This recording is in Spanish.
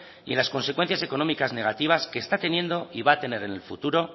y en las consecuencias económicas negativas que está teniendo y va a tener en el futuro